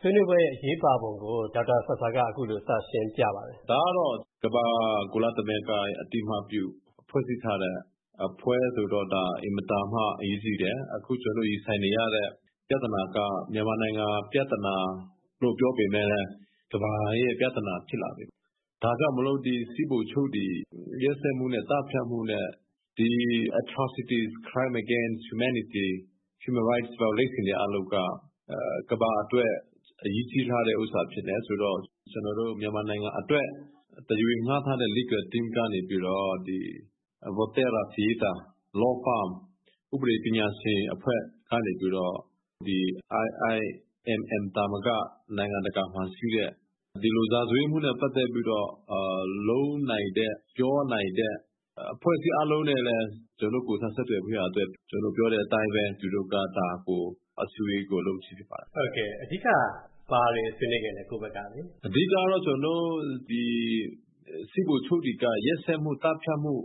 ဆွေးနွေးပွဲရဲ့ အရေးပါပုံကို ဒေါက်တာဆာဆာက အခုလိုစရှင်းပြပါတယ်။ ဒေါက်တာဆာဆာ ။ ။ ဒါကတော့ ကမ္ဘာ့ကုလသမဂ္ဂရဲ့ အသိအမှတ်ပြု ဖွဲ့စည်းထားတဲ့ အဖွဲ့ဆိုတော့၊ ဒါ အင်မတန်မှ အရေးကြီးတယ်။ အခုကျွန်တော်တို့ ရင်ဆိုင်နေရတဲ့ပြဿနာက မြန်မာနိုင်ငံပြဿနာလို့ ပြောပေမဲ့လည်း၊ ကမ္ဘာရဲ့ပြဿနာဖြစ်လာပြီ။ ဒါကြောင့်မို့ စစ်ဗိုလ်ချုပ်တွေ ရက်စက်မူနဲ့ သတ်ဖြတ်မူနဲ့ ဒီ Atrocities ၊ Crime Against Humanity ၊ Human Rights Violations တွေအားလုံးက၊ ကမ္ဘာအတွက် အရေးကြီးထားတဲ့ဥစ္စာဖြစ်တယ်ဆိုတော့၊ ကျွန်တော်တို့ မြန်မာနိုင်ငံအတွက် တရားဝင်ငှားထားတဲ့ Legal Team ကနေပြီးတော့၊ ဒီ Volterra Fietta၊ Law Firm ဥပဒေပညာရှင်အဖွဲ့ကနေပြီးတော့၊ ဒီ IIMM အဖွဲ့သာမက၊ နိုင်ငံတကာမှာရှိတဲ့၊ ဒီလို ရာဇဝတ်မူနဲ့ပတ်သက်ပြီးတော့ လုပ်နိုင်တဲ့၊ ပြောနိုင်တဲ့ အဖွဲ့အစည်းအားလုံးနဲ့လည်း၊ ကျွန်တော်တို့ ကိုယ်စားဆက်သွယ်ဖို့ရန်အတွက်၊ ကျွန်တော်တို့ပြောတဲ့အတိုင်းပဲ၊ သူတို့က ဒါကို အစည်းအဝေးကို လုပ်ခြင်းဖြစ်ပါတယ်။ ဝင်းမင်း ။ ။ အဓိက ဘာတွေဆွေးနွေးခဲ့လဲ၊ ကိုယ့်ဘက်ကလေ။ ဒေါက်တာဆာဆာ ။ ။ ကျွန်တော်တို့ အဓိကကတော့၊ ဒီ စစ်ဗိုလ်ချုပ်တွေက၊ ရက်စက်မူ သတ်ဖြတ်မူ၊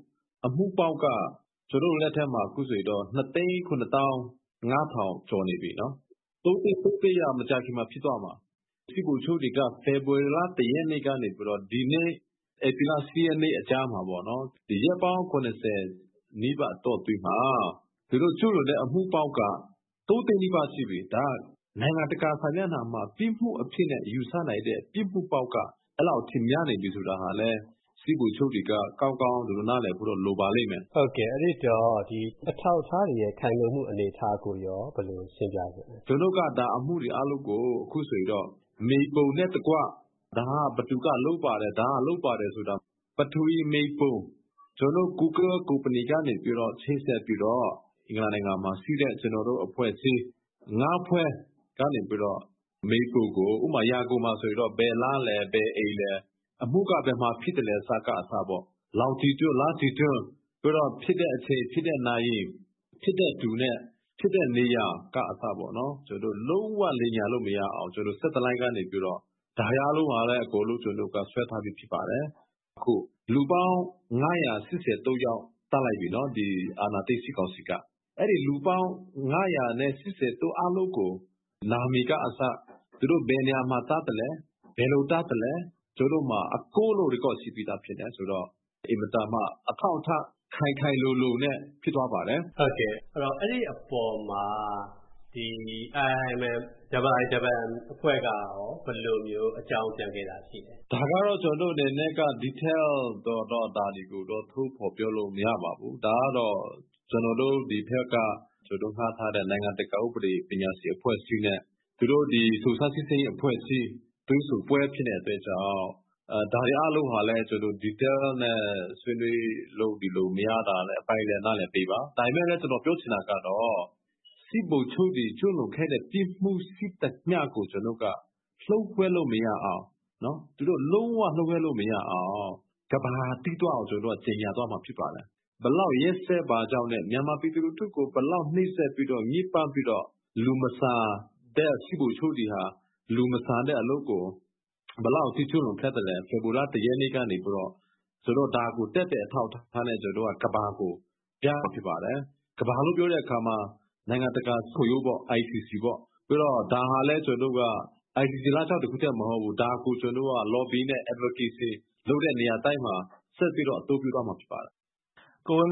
အမူပေါင်းက၊ ကျွန်တော်တို့လက်ထဲမှာ အခုဆိုရင် ၂၇၅၀၀၀ ကျော်နေပြီနော်၊ ၃ သိန်း က မကြာခင်မှာဖြစ်တော့မှာ။ စစ်ဗိုလ်ချုပ်တွေက ဖေဖော်ဝါရီလ ၁ ရက်နေ့ကနေပြီးတော့၊ ဒီနေ့ ဧပြီလ ၈ ရက်နေ့အကြားမှာပေါ့နော်၊ ရက်ပေါင်း ၇၀ နီးပါး အတောအတွင်းမှာ၊ သူတို့ကျူးလွန်တဲ့ အမူပေါင်းက ၃ သိန်းနီးပါး ရှိပြီ။ ဒါက၊ နိုင်ငံတကာစာမျက်နှာမှာ၊ ပြစ်မူအနေနဲ့ယူဆနိုင်တဲ့ ပြစ်မူပေါင်းက၊ အဲ့လောက်အထိများနေပြီဆိုတာဟာလည်း၊ စစ်ဗိုလ်ချုပ်တွေက၊ ကောင်းကောင်း သူတို့ နားလည်ဖို့တော့ လိုပါလိမ့်မယ်။ ဝင်းမင်း ။ ။ ဒီအထောက်အထားတွေရဲ့ ခိုင်လုံမူကိုရော ဘယ်လို ရှင်းပြချင်လဲ။ ဒေါက်တာဆာဆာ ။ ။ ကျွန်တော်တို့က ဒါ အမူတွေအားလုံးကို အခုဆိုရင်တော့ မြေပုံနဲ့တကွ၊ ဒါဟာဘယ်သူက လုပ်ပါတယ်၊ ဒါဟာလုပ်ပါတယ်ဆိုတာ၊ ပထဝီမြေပုံ၊ ကျွန်တော်တို့ Google ကုမ္ပဏီကနေပြီးတော့၊ ချိတ်ဆက်ပြီးတော့၊ အင်္ဂလန် နိုင်ငံမှာရှိတဲ့၊ ကျွန်တော်တို့အဖွဲ့အစည်း ၅ ဖွဲ့ကနေပြီးတော့၊ မြေပုံကို၊ ဥပမာဆိုရင် ရန်ကုန်မှာဆိုရင်တော့၊ ဘယ်လမ်းလဲ၊ ဘယ်အိမ်လဲ၊ အမူက ဘယ်မှာဖြစ်သလဲကအစပေါ့၊ လောင်ဂျီတွဒ်၊ လတ္တီတွဒ်၊ နောက်ဖြစ်တဲ့အချိန်၊ ဖြစ်တဲ့နာရီ၊ ဖြစ်တဲ့သူနဲ့ ဖြစ်တဲ့နေရာက အစပေါ့နော်၊ လုံးဝလိမ်ညာလို့မရအောင်၊ ကျွန်တော်တို့ Satellite ကနေပြီးတော့၊ ဒါတွေအားလုံးဟာဆိုလို့ရှိရင်လဲ၊ ကျွန်တော်တို့က ဆွဲထားပြီးသားဖြစ်ပါတယ်။ အခု၊ လူပေါင်း ၅၈၃ ယောက် သတ်လိုက်ပြီနော်၊ ဒီအာဏာသိမ်းစစ်ကောင်စီက။ အဲ့ဒီလူပေါင်း ၅၈၃ ယောက်၊ အားလုံးကို သူတို့နာမည်ကအစ၊ သူတို့ဘယ်နေရာမှာ သတ်သလဲ၊ ဘယ်လိုသတ်သလဲ၊ ကျွန်တော်တို့မှာ အကုန်လုံး Record ရှိပြီးသားဖြစ်တယ်ဆိုတော့၊ အင်မတန်မှ အထောက်အထား ခိုင်ခိုင်လုံလုံနဲ့ဖြစ်သွားပါတယ်။ ဝင်းမင်း ။ ။ အဲ့ဒီအပေါ်မှာ ဒီ IIMM အဖွဲ့ကရော၊ ဘယ်လိုအကြောင်းပြန်ခဲ့တာရှိလဲ။ ဒေါက်တာဆာဆာ ။ ။ ဒါကတော့ ကျွန်တော်တို့အနေနဲ့က Detail ကိုတော့ ဒါတွေကိုတော့ ထုတ်ဖော်ပြောလို့ မရပါဘူး။ ဒါကတော့ ကျွန်တော်တို့ ဒီဘက်က ငှားထားတဲ့ နိုင်ငံတကာ ဥပဒေပညာရှင်အဖွဲ့အစည်းနဲ့၊ သူတို့ ဒီ စုံစမ်းစစ်ဆေးရေးအဖွဲ့အစည်း တွေ့ဆုံပွဲဖြစ်နေတဲ့အတွက်ကြောင့်၊ ဒါတွေအားလုံးဟာလည်း ကျွန်တော်တို့ Detail နဲ့ ဆွေးနွေးလို့၊ ဒီလို မရတာလည်း အပိုင်းလည်း၊ နားလည်ပေးပါ။ ဒါပေမဲ့ ကျွန်တော်ပြောချင်တာကတော့၊ စစ်ဗိုလ်ချုပ်တွေ ကျူးလွန်ခဲ့တဲ့ ပြစ်မူရှိသမျှကို ကျွန်တော်တို့က၊ လျို.ဝှက်လို့မရအောင်၊ သူတို့ လုံးဝလျို.ဝှက်လို့မရအောင်၊ ကမ္ဘာကသိသွားအောင်၊ ကျွန်တော်တို့က ကြေညာသွားမှာဖြစ်ပါတယ်။ ဘယ်လောက်ရက်စက်ပါကြောင်းနဲ့၊ မြန်မာပြည်သူလူထုကို ဘယ်လောက် နှိပ်စက်ပြီးတော့၊ ညစ်ပတ်ပြီးတော့၊ လူမဆန်တဲ့ စစ်ဗိုလ်ချုပ်တွေဟာ၊ လူမဆန်တဲ့အလုပ်ကို၊ ဘယ်လောက်ထိ ကျုးလွန်ခဲ့သလဲ၊ ဖေဖော်ဝါရီလ ၁ ရက်နေ့ကနေပြီးတော့၊ ဆိုတော့ ဒါကို သက်သေအထောက်အထားနဲ့ ကျွန်တော်တို့က၊ ကမ္ဘာကိုပြမှာဖြစ်ပါတယ်။ ကမ္ဘာလို့ပြောတဲ့အခါမှာ၊ နိုင်ငံတကာရာဇဝတ်မူခုံရုံးပေါ့၊ ICC ပေါ့။ ပြီးတော့ ဒါဟာလည်း ကျွန်တော်တို့က၊ ICC လမ်းကြောင်း တစ်ခုထဲမဟုတ်ဘူး။ ဒါကို ကျွန်တော်တို့က Lobby နဲ့ Advocacy လုပ်တဲ့နေရာတိုင်းမှာ၊ ဆက်ပြီးတော့ အသုံးပြုသွားမှာဖြစ်ပါတယ်။ ဝင်းမင်း